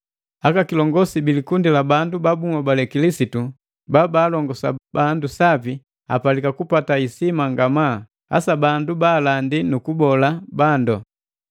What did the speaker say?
Aka kilongosi bi likundi la bandu babuhobale Kilisitu babalongosa bandu sapi apalika kupata isima ngamaa, hasa bandu baalandi nukubola bandu.